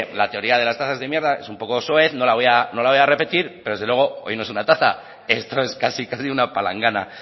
la teoría de las tazas de mierda es un poco soez no la voy a repetir pero desde luego hoy no es una taza esto es casi casi una palangana